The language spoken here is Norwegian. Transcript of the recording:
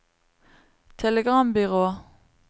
telegrambyrå